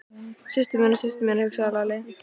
Systur mína, systur mína, hugsaði Lalli.